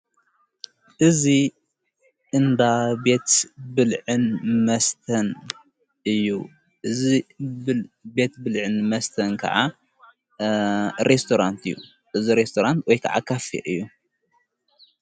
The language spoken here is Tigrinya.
እዙ እንዳ ቤት ብልዕን መስተን እዩ እዝ ብቤት ብልዕን መስተን ከዓ ርስራንት እዩ እዝ ሬስተራንት ወይከዓ ኻፊ እዩ።